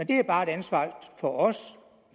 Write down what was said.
det er bare et ansvar for os